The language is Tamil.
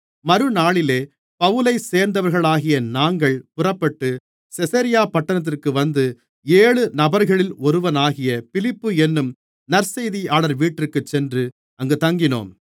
மறுநாளிலே பவுலைச் சேர்ந்தவர்களாகிய நாங்கள் புறப்பட்டு செசரியா பட்டணத்திற்கு வந்து ஏழு நபர்களில் ஒருவனாகிய பிலிப்பு என்னும் நற்செய்தியாளர் வீட்டிற்கு சென்று அங்கு தங்கினோம்